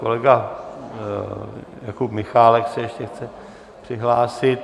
Kolega Jakub Michálek se ještě chce přihlásit.